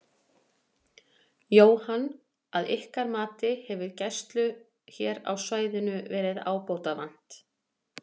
Jóhann: Að ykkar mati, hefur gæslu hér á svæðinu verið ábótavant?